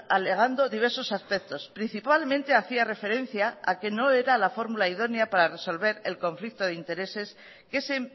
alegando diversos aspectos principalmente hacía referencia a que no era la fórmula idónea para resolver el conflicto de intereses que se